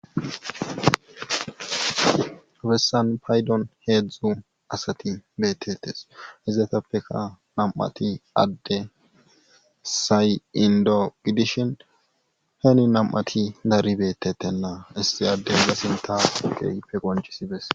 bessan paydon heedzdzu asati beetetes izedetappeka nam7ati adde sayindogidishin heeni nam7ati dari beetetenna issi adde la sintageyfe goncisibes